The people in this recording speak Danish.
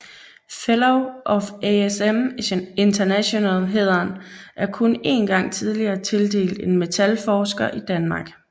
Fellow of ASM International hæderen er kun én gang tidligere tildelt en metalforsker i Danmark